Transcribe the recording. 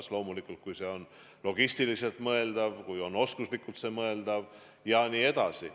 Seda loomulikult siis, kui see on logistiliselt mõeldav, kui nende oskused on piisavad jne.